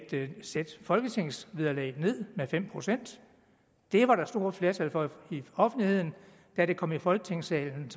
sætte folketingsvederlaget ned med fem procent det var der stort flertal for i offentligheden da det kom i folketingssalen